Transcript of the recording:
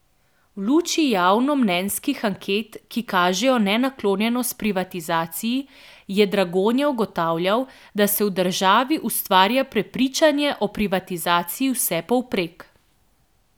V luči javnomnenjskih anket, ki kažejo nenaklonjenost privatizaciji, je Dragonja ugotavljal, da se v državi ustvarja prepričanje o privatizaciji vsepovprek.